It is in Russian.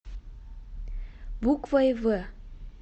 буквой в